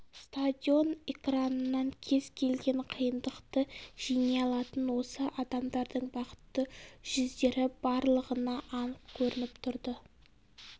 стадион экранынан кез келген қиындықты жеңе алатын осы адамдардың бақытты жүздері барлығына анық көрініп тұрды